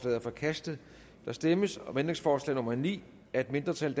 er forkastet der stemmes om ændringsforslag nummer ni af et mindretal